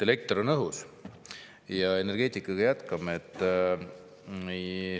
Elekter on õhus ja energeetikaga jätkame.